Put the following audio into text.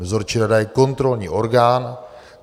Dozorčí rada je kontrolní orgán.